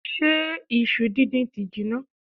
Ṣé isu díndín ti jinná?